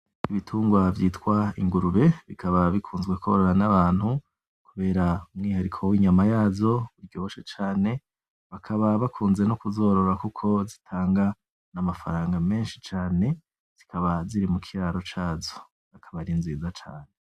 Ibitungwa vyitwa ingurube bikaba bikunzwe kworora nabantu kubera umwihariko w'inyama yazo ujoshe cane bakaba bakunze no kuzorora kuko zitanga n'amafaranga menshi cane. Zikaba ziri mukiraro cazo, akaba ari nziza cane.